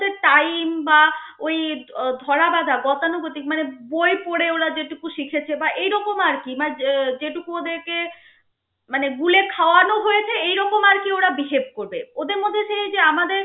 ওদের time বা ওই ধরাবাধা গতানুগতিক মানে বই পড়ে ওরা যেটুকু শিখেছে বা এইরকম আর কি মায~ যেটুকু ওদের কে মানে গুলে খাওয়ানো হয়েছে এইরকম আরকি ওরা behave করবে ওদের মধ্যে এই যে আমাদের